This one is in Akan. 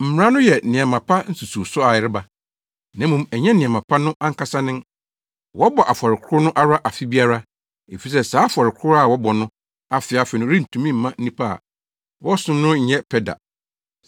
Mmara no yɛ nneɛma pa nsusuwso a ɛreba, na mmom ɛnyɛ nneɛma pa no ankasa nen. Wɔbɔ afɔre koro no ara afe biara, efisɛ saa afɔre koro a wɔbɔ no afe afe no rentumi mma nnipa a wɔsom no nyɛ pɛ da.